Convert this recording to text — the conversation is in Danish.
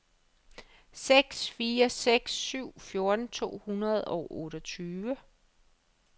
seks fire seks syv fjorten to hundrede og otteogtyve